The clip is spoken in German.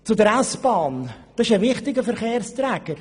Sie ist ein wichtiger Verkehrsträger.